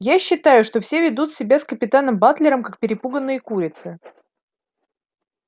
я считаю что все ведут себя с капитаном батлером как перепуганные курицы